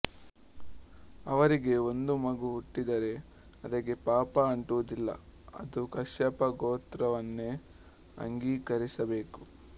ಅವರಿಗೆ ಒಂದು ಮಗು ಹುಟ್ಟಿದರೆ ಅದಕ್ಕೆ ಪಾಪ ಅಂಟುವುದಿಲ್ಲ ಅದು ಕಶ್ಯಪ ಗೋತ್ರವನ್ನೇ ಅಂಗೀಕರಿಸಬೇಕು